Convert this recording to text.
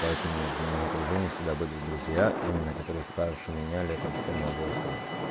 поэтому в моём окружении всегда были друзья именно который старше меня лет на семь на восемь